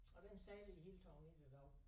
Og den sejler i det hele taget ikke i dag